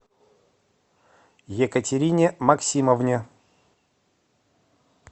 екатерине максимовне